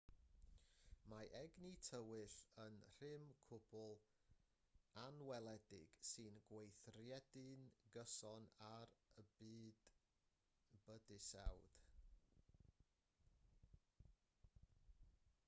mae egni tywyll yn rym cwbl anweledig sy'n gweithredu'n gyson ar y bydysawd